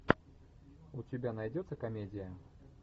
у тебя найдется комедия